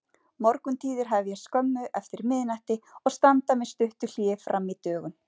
Morguntíðir hefjast skömmu eftir miðnætti og standa með stuttu hléi frammí dögun.